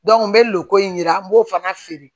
n bɛ lukoro in yira an b'o fana feere